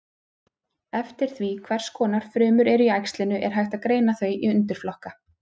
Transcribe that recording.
Eftir því hvers konar frumur eru í æxlinu er hægt að greina þau í undirflokka.